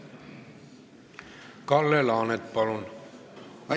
Kalle Laanet, palun!